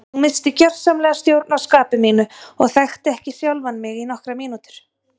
Ég missti gjörsamlega stjórn á skapi mínu og þekkti ekki sjálfan mig í nokkrar mínútur.